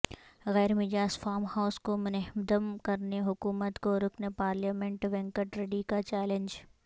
غیر مجاز farm house کو منہدم کرنے حکومت کو رکن پارلیمنٹ وینکٹ ریڈی کا چیالنج